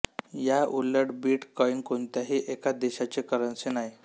या उलट bitcoin कोणत्याही एका देशाची करन्सी नाही